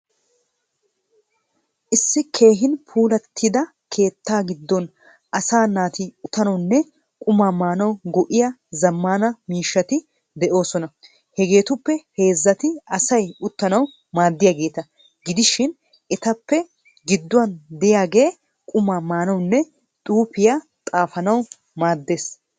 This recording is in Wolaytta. Issi keehin puulaatida keetta giddon asaa naati uttanawunne quma maanaw go'iya zaamana miishshaati de'osoona. Hegeetuppe heezzati asayi uttanawu maadiyaageta giidishin etappe giduwaan de'iyaage quma maanawunne xuufiya xaafanawu maaddees.